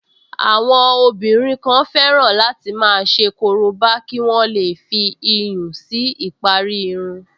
Àwọn obìnrin kan fẹ́ràn láti máa ṣe korobá kí wọ́n lè fi iyùn si ìparí irun